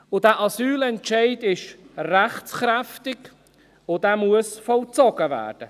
Dieser Asylentscheid ist rechtskräftig, und er muss vollzogen werden.